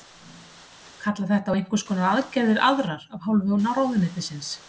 Kallar þetta á einhvers konar aðgerðir aðrar af hálfu ráðuneytisins?